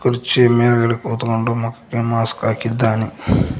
ಕುರ್ಚಿಯ ಮೇಲ್ಗಡೆ ಕುತ್ಕೊಂಡು ಮುಖಕ್ಕೆ ಮಾಸ್ಕ್ ಹಾಕಿದ್ದಾನೆ.